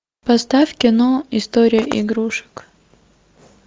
поставь кино история игрушек